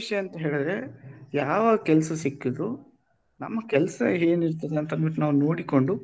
ವಿಷಯ ಎಂತ ಅಂದ್ರೆ ಯಾವ ಕೆಲಸ ಸಿಕ್ಕಿದ್ರು ನಮ್ಮಕೆಲಸ ಏನು ಇರ್ತದೆ ಅಂತ ಅನ್ಬಿಟ್ಟು ನಾವು ನೋಡಿಕೊಂಡು